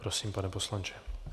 Prosím, pane poslanče.